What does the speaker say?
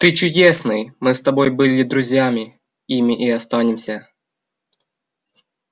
ты чудесный мы с тобой были друзьями ими и останемся